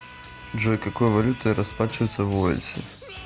джой какой валютой расплачиваются в уэльсе